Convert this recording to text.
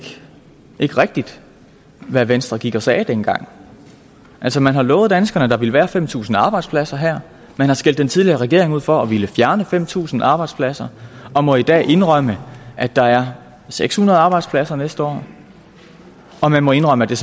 rigtigt hvad venstre gik og sagde dengang altså man har lovet danskerne at der ville være fem tusind arbejdspladser her man har skældt den tidligere regering ud for at ville fjerne fem tusind arbejdspladser og må i dag indrømme at der er seks hundrede arbejdspladser næste år og man må indrømme at det